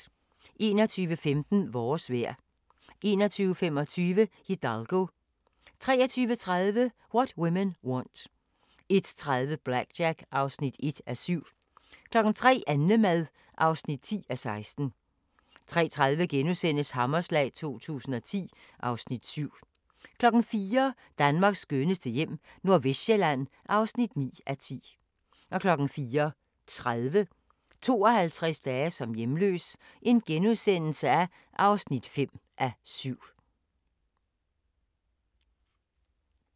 21:15: Vores vejr 21:25: Hidalgo 23:30: What Women Want 01:30: BlackJack (1:7) 03:00: Annemad (10:16) 03:30: Hammerslag 2010 (Afs. 7)* 04:00: Danmarks skønneste hjem - Nordvestsjælland (9:10) 04:30: 52 dage som hjemløs (5:7)*